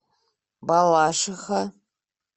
балашиха